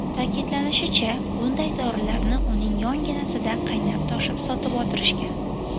Ta’kidlanishicha, bunday dorilarni uning yonginasida qaynab-toshib sotib o‘tirishgan.